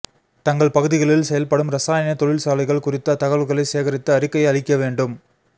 தங்கள் பகுதிகளில் செயல்படும் ரசாயன தொழில்சாலைகள் குறித்த தகவல்களைச் சேகரித்து அறிக்கை அளிக்க வேண்டும்